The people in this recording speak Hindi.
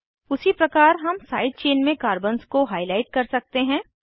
उसी प्रकार हम साइड चेन में कार्बन्स को हाईलाइट कर सकते हैं